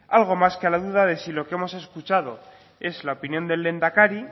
algo más que la duda de si que lo hemos escuchado es la opinión del lehendakari